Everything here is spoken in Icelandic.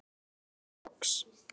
segir hún loks.